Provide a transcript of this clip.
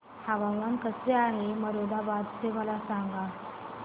हवामान कसे आहे मोरादाबाद चे मला सांगा